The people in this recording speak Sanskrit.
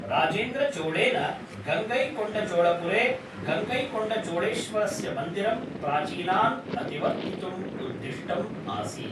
राजेन्द्रचोळेन गङ्गैकोण्डचोळपुरे गङ्गैकोण्डचोळेश्वरस्य मन्दिरम् प्राचीनान् अतिवर्तितुम् उद्दिष्टम् आसीत्।